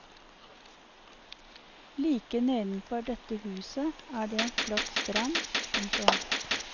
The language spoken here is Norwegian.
Like nedenfor dette huset er det en flott strand. punktum